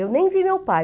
Eu nem vi meu pai.